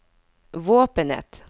våpenet